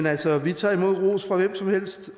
altså vi tager imod ros fra hvem som helst